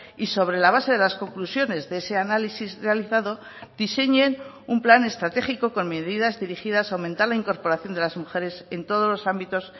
y sobre la base de las conclusiones de ese análisis realizado diseñen un plan estratégico con medidas dirigidas a aumentar la incorporación de las mujeres en todos los ámbitos